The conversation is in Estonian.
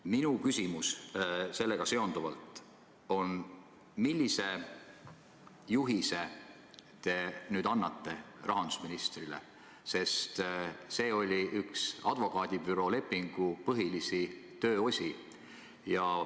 Minu küsimus sellega seonduvalt on järgmine: millise juhise te annate nüüd rahandusministrile, sest see oli üks advokaadibürooga sõlmitud lepingu põhilisi tööosi?